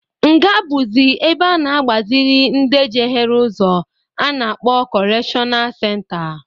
Nga bụzị ebe a na-agbazịlị ndị jehere ụzọ a na-akpọ kọrekshọnal senta.